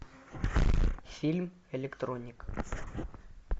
фильм электроник